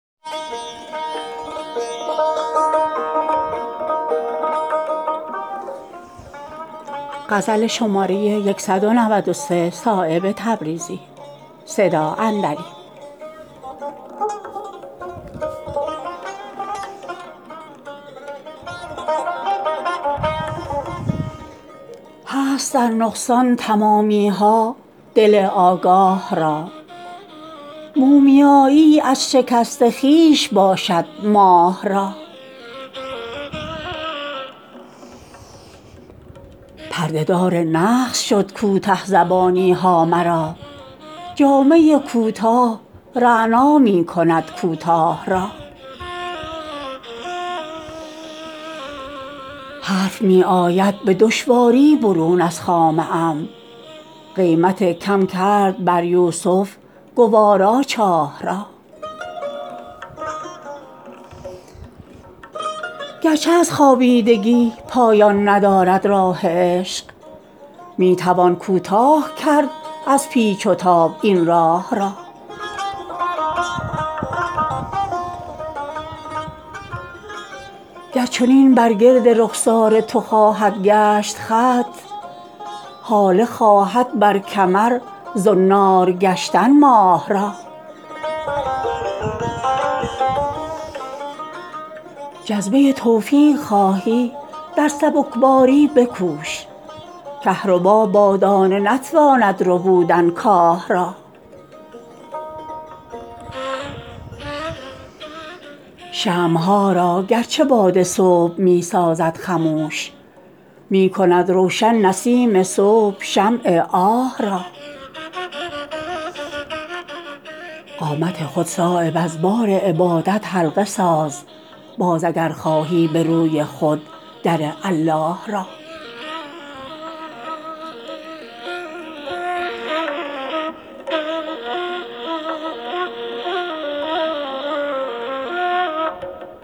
هست در نقصان تمامی ها دل آگاه را مومیایی از شکست خویش باشد ماه را پرده دار نقص شد کوته زبانی ها مرا جامه کوتاه رعنا می کند کوتاه را حرف می آید به دشواری برون از خامه ام قیمت کم کرد بر یوسف گوارا چاه را گرچه از خوابیدگی پایان ندارد راه عشق می توان کوتاه کرد از پیچ و تاب این راه را گر چنین بر گرد رخسار تو خواهد گشت خط هاله خواهد بر کمر زنار گشتن ماه را جذبه توفیق خواهی در سبکباری بکوش کهربا با دانه نتواند ربودن کاه را شمع ها را گرچه باد صبح می سازد خموش می کند روشن نسیم صبح شمع آه را قامت خود صایب از بار عبادت حلقه ساز باز اگر خواهی به روی خود در الله را